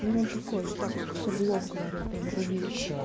ну он такой типа всё в лоб говорил прямо рубил